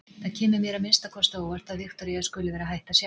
Það kemur mér að minnsta kosti á óvart að Viktoría skuli vera hætt að sjá.